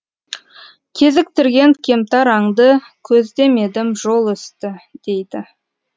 кезіктірген кемтар аңды көздемедім жол үсті дейді